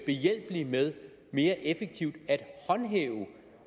behjælpelig med mere effektivt